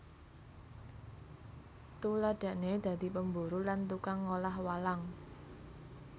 Tuladhané dadi pemburu lan tukang ngolah walang